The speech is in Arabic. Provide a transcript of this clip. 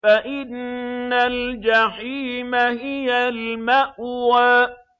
فَإِنَّ الْجَحِيمَ هِيَ الْمَأْوَىٰ